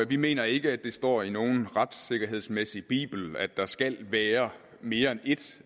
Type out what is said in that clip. vi mener ikke at det står i nogen retssikkerhedsbibel at der skal være mere end et